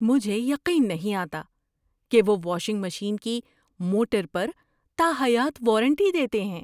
مجھے یقین نہیں آتا کہ وہ واشنگ مشین کی موٹر پر تاحیات وارنٹی دیتے ہیں۔